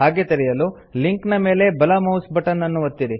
ಹಾಗೆ ತೆರೆಯಲು ಲಿಂಕ್ ನ ಮೇಲೆ ಬಲ ಮೌಸ್ ಬಟನ್ ಅನ್ನು ಒತ್ತಿರಿ